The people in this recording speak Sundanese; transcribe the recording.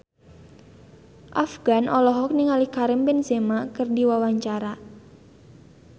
Afgan olohok ningali Karim Benzema keur diwawancara